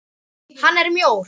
Hann er mjór.